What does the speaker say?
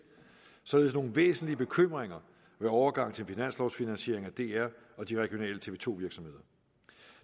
således nogle væsentlige bekymringer ved overgang til finanslovfinansiering af dr og de regionale tv to virksomheder